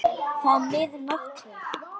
Þá er mið nótt hér.